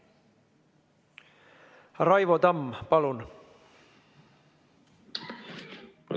Raivo Tamm, palun!